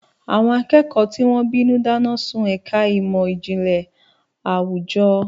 Àwọn akẹ́kọ̀ọ́ tí wọ́n bínú dáná sun ẹ̀ka ìmọ̀ ìjìnlẹ̀ àwùjọ.